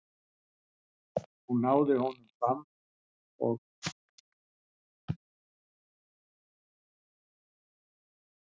Hún náði honum samt og fékk hann enn á ný yfir sig.